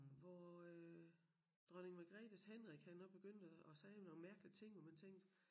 Hvor øh hvor Dronning Margrethes Henrik han også begyndte at at sige nogle mærkelig ting hvor man tænkte